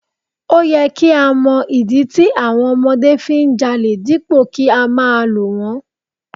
O yẹ kí á mọ ìdí tí àwọn ọmọdé fi ń jalè dípò kí á máa lù wón.